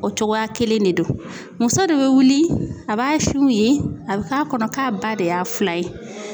O cogoya kelen de don muso de bɛ wuli a b'a sinw ye a bɛ k'a kɔnɔ k'a ba de y'a filan ye.